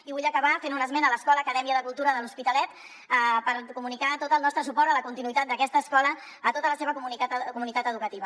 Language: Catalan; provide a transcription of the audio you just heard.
i vull acabar fent un esment de l’escola acadèmia cultura de l’hospitalet per comunicar tot el nostre suport a la continuïtat d’aquesta escola a tota la seva comunitat educativa